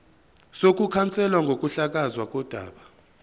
sokukhanselwa kokuhlakazwa kodaba